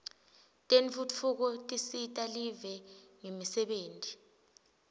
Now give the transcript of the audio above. tentfutfuko tisita live ngemisebenti